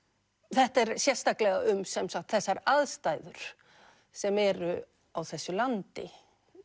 þetta er sérstaklega um þessar aðstæður sem eru á þessu landi